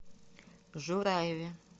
жураеве